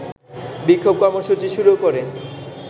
বিক্ষোভ কর্মসূচি শুরু করে